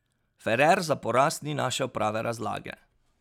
Ferrer za poraz ni našel prave razlage.